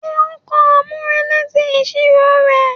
Ṣe o n kọ amurele ti iṣiro rẹ?